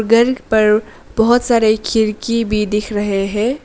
घर पर बहोत सारे खिरकी भी दिख रहे है।